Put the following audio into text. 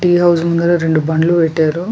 Tea house ముంగార రెండు బండ్లు పెట్టారు.